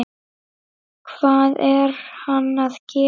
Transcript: Hvað er hann að gera?